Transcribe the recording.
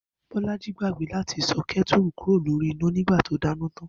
Bó̩lájí gbàgbé láti so̩ ké̩tùrù kúrò lórí iná nígbà tí ó dáná tán